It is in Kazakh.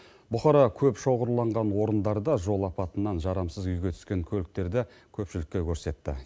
бұқара көп шоғырланған орындарда жол апатынан жарамсыз күйге түскен көліктерді көпшілікке көрсетті